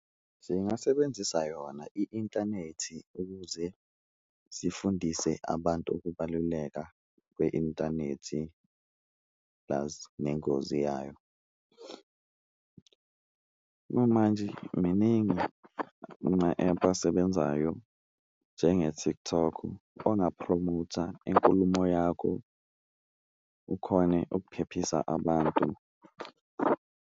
Zingasebenzisa yona i-intanethi ukuze zifundise abantu ukubaluleka kwe-intanethi plus nengozi yayo. Okwamanje miningi ama-ephu asebenzayo njenge-TikTok ongaphromotha inkulumo yakho, ukhone ukuphephisa abantu.